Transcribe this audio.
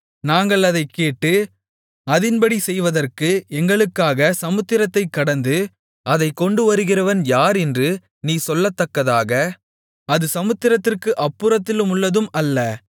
நாங்கள் அதைக் கேட்டு அதின்படி செய்வதற்கு எங்களுக்காக சமுத்திரத்தைக் கடந்து அதைக் கொண்டுவருகிறவன் யார் என்று நீ சொல்லத்தக்கதாக அது சமுத்திரத்திற்கு அப்புறத்திலுள்ளதும் அல்ல